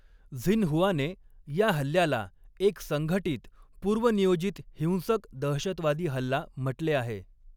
झिनहुआने या हल्ल्याला 'एक संघटित, पूर्वनियोजित हिंसक दहशतवादी हल्ला' म्हटले आहे.